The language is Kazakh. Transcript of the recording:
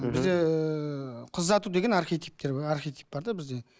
мхм бізде ііі қыз ұзату деген архетиптер бар архетип бар да бізде